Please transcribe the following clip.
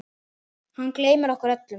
Hann gleymir okkur öllum.